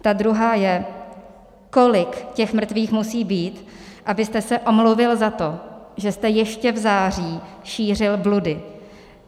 Ta druhá je: Kolik těch mrtvých musí být, abyste se omluvil za to, že jste ještě v září šířil bludy?